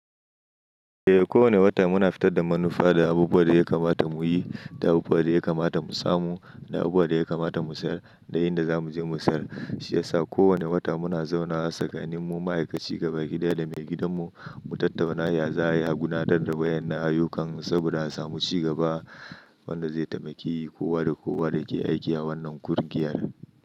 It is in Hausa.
Eh, kowane wata muna fitar da manufa da abubuwan da ya kamata mu yi, da abubuwan da ya kamata mu samu, da abubuwan da ya kamata mu sayar, da inda za mu je mu sayar. Shiyasa ko wanne wata muna zaunawa tsakanin mu ma'aikaci gabaki daya da mai gidanmu mu tattauna ya za'ayi a gudanar da wa'ƴannan ayyukan saboda a samu cigaba. Wanda zai taimaki kowa da kowa da ke aiki a wannan ƙungiyar.